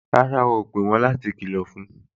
Rárá o ò pè wọ́n